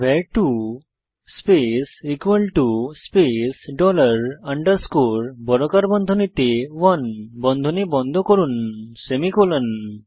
var2 space space dollar underscore বর্গাকার বন্ধনীতে 1 বন্ধনী বন্ধ করুন সেমিকোলন